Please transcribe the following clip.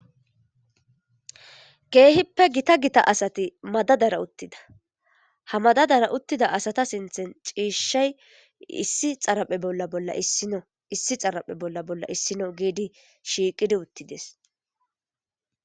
Kehippe gita gita asati madadara uttida haa madadara uttida asata sinththanni cishshayi issi xarphphe bolla bolla issino gidi shiqqiddi uttides.